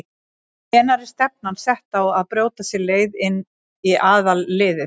Hvenær er stefnan sett á að brjóta sér leið inn í aðalliðið?